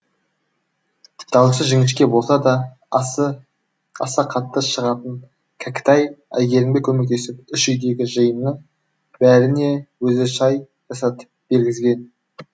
даусы жіңішке болса да аса қатты шығатын кәкітай әйгерімге көмектесіп үш үйдегі жиынның бәріне өзі шай жасатып бергізген